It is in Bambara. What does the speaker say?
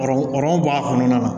bɔ a kɔnɔna na